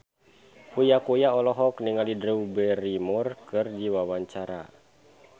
Uya Kuya olohok ningali Drew Barrymore keur diwawancara